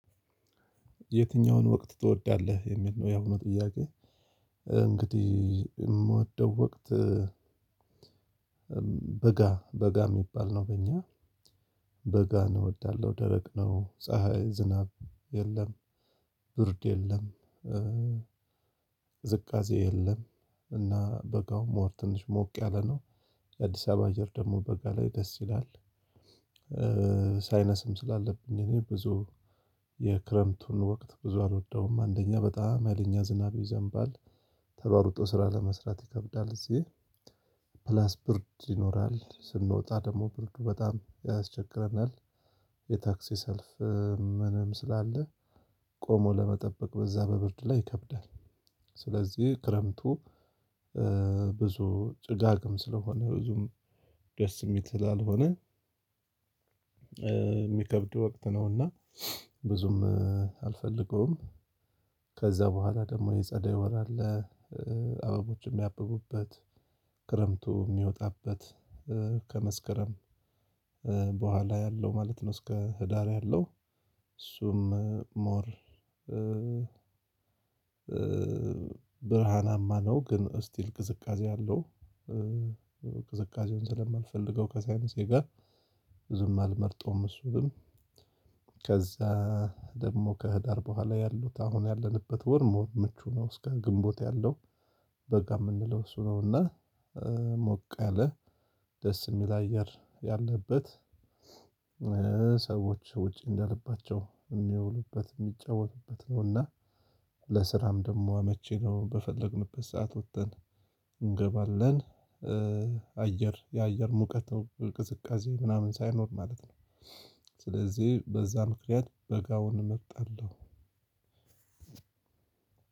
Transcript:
የትኛውን ወቅት ትወዳለህ የሚል ነው የአሁኑ ጥያቄ። እንግዲህ የምወደው ወቅት በጋ፣ በጋ የሚባል ነው በእኛ በጋን እንወዳለሁ። ደረቅ ነው፣ ፀሀይ ዝናብ የለም። ብርድ የለም። ቅዝቅዜ የለም እና በጋ ሞር ትንሽ ሞቅ ያለ ነው። የአዲስ አበባ አየር ደግሞ በጋ ላይ ደስ ይላል። ሳይነስም ስላለብኝ እኔ ብዙ የክረምቱን ወቅት ብዙ አልወደውም። አንደኛ በጣም ሀይለኛ ዝናብ ይዘንባል። ተሯሩጦ ስራ ለመስራት ይከብዳል እዚሕ። ፕላስ ብርድ ይኖራል። ስንወጣ ደግሞ ብርዱ በጣም ያስቸግረናል። የታክሲ ሰልፍም ምንም ስላለ፣ ቆሞ ለመጠበቅ በዛ በብርድ ላይ ይከብዳል። ስለዚህ ክረምቱ ብዙ ጭጋግም ስለሆነ ብዙም ደስ የሚል ስላልሆነ የሚከብድ ወቅት ነው እና ብዙም አልፈልገውም። ከዛ በኋላ ደግሞ የጸደይ ወር አለ። አበቦችን የሚያብቡበት፣ ክረምቱ የሚወጣበት፣ ከመስከረም በኋላ ያለው ማለት ነው እስከ ህዳር ያለው እሱም ሞር ብርሃናማ ነው ግን ስቲል ቅዝቃዜ አለው። ቅዝቃዜውን ስለማልፈልገው ከሳይነሴ ጋር ብዙም አልመርጠውም እሱንም። ከዛ ደግሞ ከህዳር በኋላ ያሉት አሁን ያለንበት ወር ሞር ምቹ ነው እስከ ግንቦት ያለው በጋ የምንለው እሱ ነው እና ሞቅ ያለ ደስ የሚል አየር ያለበት ሰዎች ውጪ እንደልባቸው የሚያውሉበት፣ የሚጫወቱበት ነው እና ለስራም ደግሞ አመቺ ነው። በፈለግንበት ሰዓት ወጥተን እንገባለን። የአየር ሙቀት፣ ቅዝቃዜ ምናምን ሳይኖር ማለት ነው። ስለዚህ በዛ ምክንያት በጋውን እመርጣለሁ።